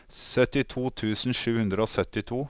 syttito tusen sju hundre og syttito